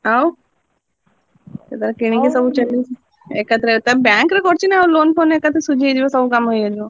ଆଉ ସେ ତାର କିଣିକି ସବୁ ଚଲେଇଛି। ଏକାଥରେ ତା bank ରେ କରିଛି ନାଉ loan ଫୋନ ଏକାଥରେ ସବୁ ଶୁଝି ହେଇଯିବ ସବୁ କାମ ଇଏ ହେଇଯିବ।